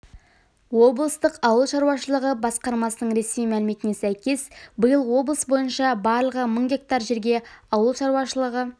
облыстық ауыл шаруашылығы басқармасының ресми мәліметіне сәйкес биыл облыс бойынша барлығы мың га жерге ауыл шаруашылығы